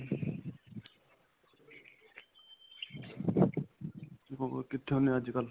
ਹੋਰ ਕਿੱਥੇ ਹੁੰਦੇ ਅੱਜਕਲ